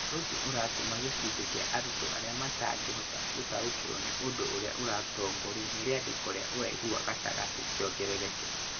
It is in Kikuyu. Ũndũ ũcio ũratũma gĩcunjĩ kĩa arutwo arĩa matangĩhota gũtaũkĩrũo nĩ ũndũ ũrĩa ũratongorio nĩ rĩandĩko rĩa ũraihu wa gatagatĩ kĩongerereke.